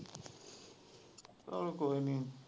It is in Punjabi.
ਚੱਲ ਕੋਈ ਨੀ